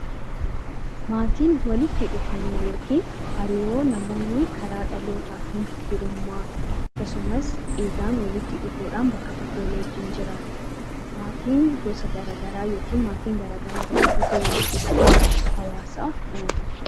Maatiin walitti dhufeenya yookiin hariiroo namoonni karaa dhalootaatiin firummaa dhiigaan walitti dhufuudhaan bakka tokko waliin jiraatanidha. Maatiin garaagaraa walitti dhufee hawaasa uuma